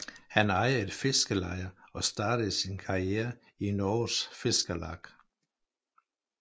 Han ejer et fiskerleje og startede sin karriere i Norges Fiskarlag